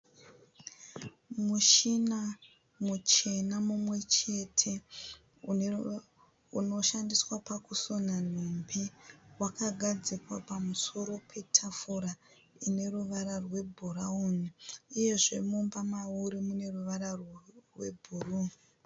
Mushina muchena mumwe chete unoshandiswa pakusona nhumbi wakagadzikwa pamusoro petafura ine ruvara rwebhurawuni uyezve mumba mauri mune ruvara rwebhuruu.